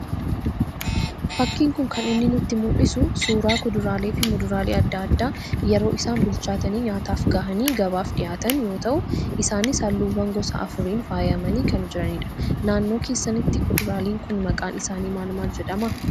Fakkiin kun kan inni nutti mul'isu, suuraa kuduraalee fi muduraalee addaa addaa yeroo isaan bilchaatanii nyaataaf gahanii gabaaf dhihaatan yoo ta'u, isaanis halluuwwan gosa afuriin faayamanii kan jiranidha. Naannoo keessanitti kuduraaleen kun maqaan isaanii maal jedhama.